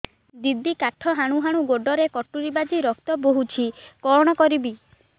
ଦିଦି କାଠ ହାଣୁ ହାଣୁ ଗୋଡରେ କଟୁରୀ ବାଜି ରକ୍ତ ବୋହୁଛି କଣ କରିବି